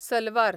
salwar